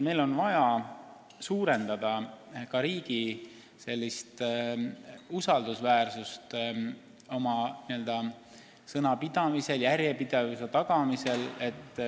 Meil on vaja suurendada riigi usaldusväärsust sellega, et tagame sõnapidamise järjepidevuse.